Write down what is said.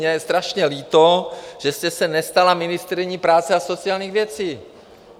Mně je strašně líto, že jste se nestala ministryní práce a sociálních věcí.